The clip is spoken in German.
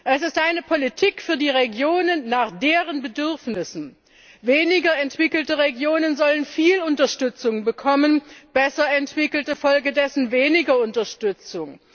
Es ist eine Politik für die Regionen nach deren Bedürfnissen Weniger entwickelte Regionen sollen viel Unterstützung bekommen, besser entwickelte entsprechend weniger Unterstützung.